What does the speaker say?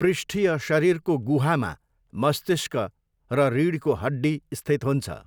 पृष्ठीय शरीरको गुहामा मस्तिष्क र रिढको हड्डी स्थित हुन्छ।